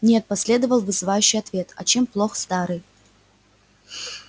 нет последовал вызывающий ответ а чем плох старый